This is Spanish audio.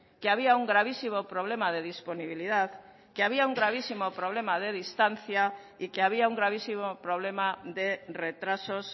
que había un gravísimo problema de disponibilidad que había un gravísimo problema de distancia y que había un gravísimo problema de retrasos